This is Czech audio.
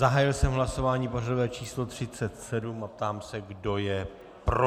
Zahájil jsem hlasování pořadové číslo 37 a ptám se, kdo je pro.